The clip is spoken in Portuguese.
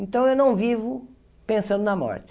Então eu não vivo pensando na morte.